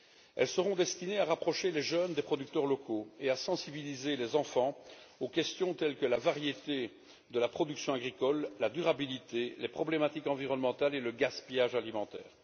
Elles seront destinées à rapprocher les jeunes des producteurs locaux et à sensibiliser les enfants aux questions telles que la variété de la production agricole, la durabilité, les problématiques environnementales et le gaspillage alimentaire.